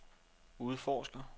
udforsker